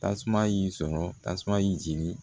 Tasuma y'i sɔrɔ tasuma y'i jeni